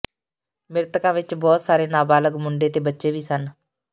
ਮ੍ਰਿਤਕਾਂ ਵਿੱਚ ਬਹੁਤ ਸਾਰੇ ਨਾਬਾਲ਼ਗ ਮੁੰਡੇ ਤੇ ਬੱਚੇ ਵੀ ਸਨ